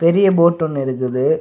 பெரிய போட்டு ஒன்னு இருக்குது.